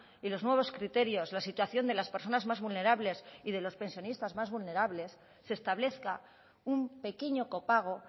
y los nuevos criterios la situación de las personas más vulnerables y de los pensionistas más vulnerables se establezca un pequeño copago